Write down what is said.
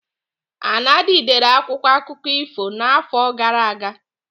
Anadi dere akwụkwọ akụkọ ifo n'afọ gara aga.